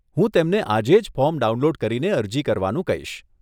હું તેમને આજે જ ફોર્મ ડાઉનલોડ કરીને અરજી કરવાનું કહીશ.